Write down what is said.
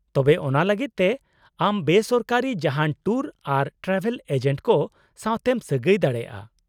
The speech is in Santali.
-ᱛᱚᱵᱮ, ᱚᱱᱟ ᱞᱟᱹᱜᱤᱫ ᱛᱮ ᱟᱢ ᱵᱮ ᱥᱚᱨᱠᱟᱨᱤ ᱡᱟᱦᱟᱸᱱ ᱴᱩᱨ ᱟᱨ ᱴᱨᱟᱵᱷᱮᱞ ᱮᱡᱮᱱᱴ ᱠᱚ ᱥᱟᱶᱛᱮᱢ ᱥᱟᱹᱜᱟᱹᱭ ᱫᱟᱲᱮᱭᱟᱜᱼᱟ ᱾